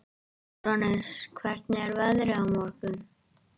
Úranus, hvernig er veðrið á morgun?